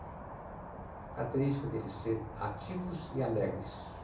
A característica dele é ser ativos e alegres.